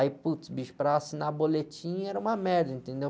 Aí, putz, bicho, para assinar boletim era uma merda, entendeu?